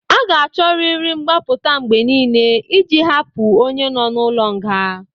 A ga-achọrịrị mgbapụta mgbe niile iji hapụ onye nọ n'ụlọ nga.